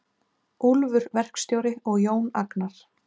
Úlfur verkstjóri og Jón Agnar.